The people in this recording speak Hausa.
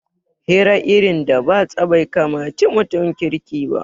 Hira irin da batsa bai kamaci mutum kirki ba